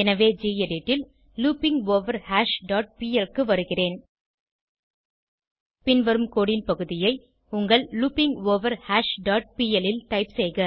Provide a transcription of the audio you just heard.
எனவே கெடிட் ல் looping over hash dot P L க்கு வருகிறேன் பின்வரும் கோடு ன் பகுதியை உங்கள் லூப்பிங்கோவர்ஹாஷ் டாட் பிஎல் ல் டைப் செய்க